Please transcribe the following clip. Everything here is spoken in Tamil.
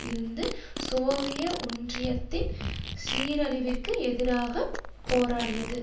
இருந்து சோவிய ஒன்றியத்தின் சீரழிவிற்கு எதிராக போராடியது